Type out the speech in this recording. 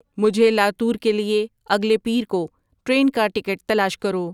مجھے لاتور کے لیے اگلے پیر کو ٹرین کا ٹکٹ تلاش کرو